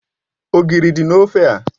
Ogiri di na ofe a.